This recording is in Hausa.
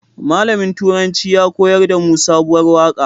Malamin turanci ya koyar damu sabuwar waƙa